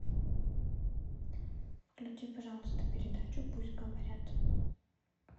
включи пожалуйста передачу пусть говорят